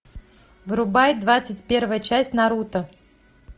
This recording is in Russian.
врубай двадцать первая часть наруто